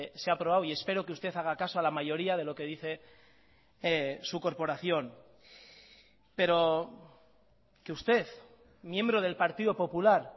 se ha aprobado y espero que usted haga caso a la mayoría de lo que dice su corporación pero que usted miembro del partido popular